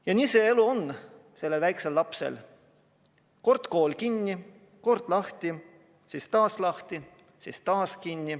Ja nii see elu sellel väiksel lapsel on: kord on kool kinni, kord lahti, siis taas kinni, siis taas lahti.